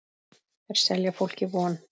Þeir selja fólki von.